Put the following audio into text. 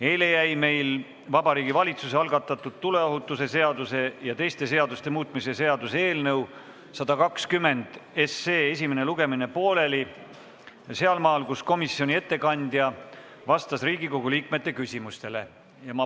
Eile jäi meil Vabariigi Valitsuse algatatud tuleohutuse seaduse ja teiste seaduste muutmise seaduse eelnõu 120 esimene lugemine pooleli sealmaal, kus komisjoni ettekandja vastas Riigikogu liikmete küsimustele.